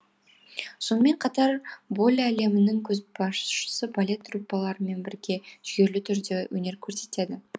сонымен қатар болле әлемінің көшбасшы балет труппаларымен бірге жүйелі түрде өнер көрсетеді